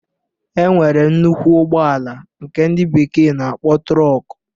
E nwere nnukwu ụgbọala nke ndị bekee na-akpọ trọk